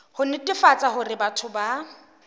ho netefatsa hore batho ba